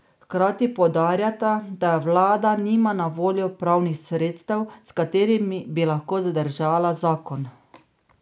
Hkrati poudarjata, da vlada nima na voljo pravnih sredstev, s katerimi bi lahko zadržala zakon.